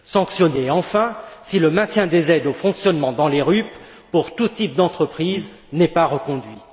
Sanctionnées, enfin, si le maintien des aides au fonctionnement dans les RUP pour tout type d'entreprise n'est pas reconduit.